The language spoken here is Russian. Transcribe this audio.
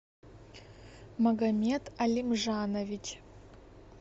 магомет алимжанович